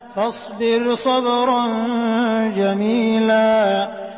فَاصْبِرْ صَبْرًا جَمِيلًا